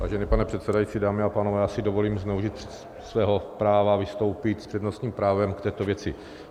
Vážený pane předsedající, dámy a pánové, já si dovolím zneužít svého práva vystoupit s přednostním právem k této věci.